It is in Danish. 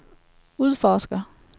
udforsker